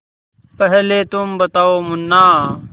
पहले तुम बताओ मुन्ना